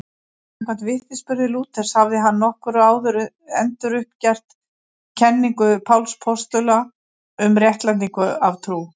Samkvæmt vitnisburði Lúthers hafði hann nokkru áður enduruppgötvað kenningu Páls postula um réttlætingu af trú.